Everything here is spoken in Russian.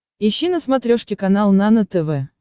ищи на смотрешке канал нано тв